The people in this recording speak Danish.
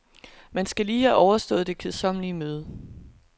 Man skal lige have overstået det kedsommelige møde.